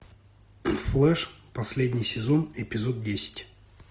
флеш последний сезон эпизод десять